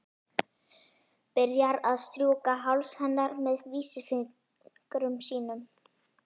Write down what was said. Byrjar að strjúka háls hennar með vísifingri sínum.